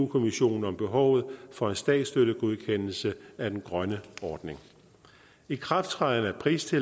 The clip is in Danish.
kommissionen om behovet for en statsstøttegodkendelse af den grønne ordning ikrafttrædelse